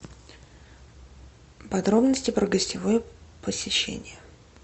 подробности про гостевое посещение